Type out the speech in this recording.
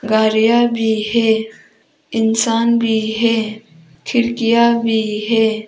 गाड़ियां भी है इंसान भी है खिड़कियां भी है।